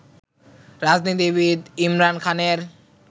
রাজনীতিবিদ ইমরান খানের